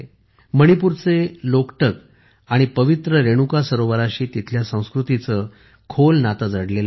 मणिपूरचे लोकटक आणि पवित्र रेणुका सरोवराशी तिथल्या संस्कृतींचे नाते जडलेले आहे